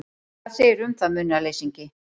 Hvað segirðu um það, munaðarleysingi?